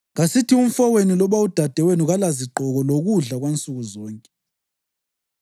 Kasithi umfowenu loba udadewenu kalazigqoko lokudla kwansukuzonke.